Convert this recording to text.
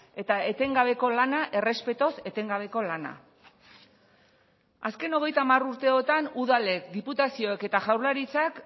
eta etengabeko lana errespetuz etengabeko lana azken hogeita hamar urteotan udalek diputazioek eta jaurlaritzak